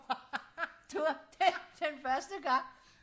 det var det den første gang